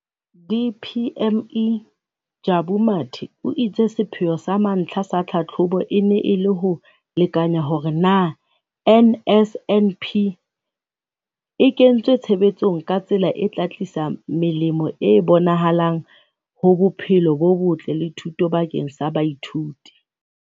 DPME, Jabu Mathe, o itse sepheo sa mantlha sa tlhahlobo e ne e le ho lekanya hore na NSNP e kentswe tshebetsong ka tsela e tla tlisa melemo e bonahalang ho bophelo bo botle le thuto bakeng sa baithuti.